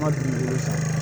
Ma dumuni san